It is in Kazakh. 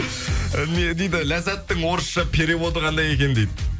не дейді ләззаттың орысша переводы қандай екен дейді